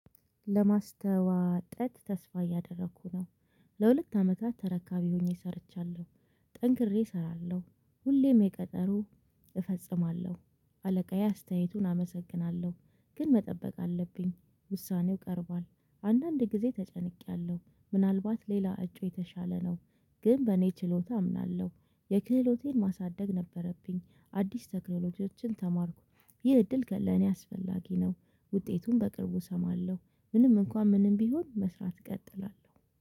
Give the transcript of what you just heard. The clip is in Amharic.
ለማስተዋጠት ተስፋ እያደረኩ ነው። ለሁለት አመታት ተረካቢ ሆኜ ሰርቻለሁ። ጠንክሬ እሰራለሁ ሁሌም የቀጠሮ እፈጽማለሁ። አለቃዬ አስተያየቱን አመሰግናለሁ ግን መጠበቅ አለብኝ ውሳኔው ቀርቧል። አንዳንድ ጊዜ ተጨንቄያለሁ ምናልባት ሌላ እጩ የተሻለ ነው። ግን በእኔ ችሎታ አምናለሁ። የክህሎቴን ማሳደግ ነበረብኝ አዲስ ቴክኖሎጂዎችን ተማርኩ። ይህ እድል ለኔ አስፈላጊ ነው። ውጤቱን በቅርቡ እሰማለሁ። ምንም እንኳን ምንም ቢሆን መስራት እቀጥላለሁ